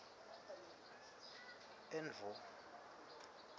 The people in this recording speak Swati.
endvo